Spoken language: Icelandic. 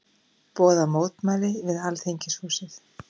Boða mótmæli við Alþingishúsið